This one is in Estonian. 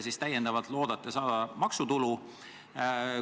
Kui palju te loodate saada täiendavat maksutulu?